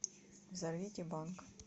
зовите банк